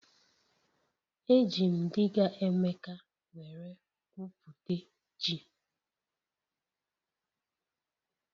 Eji m diga Emeka were gwu pute ji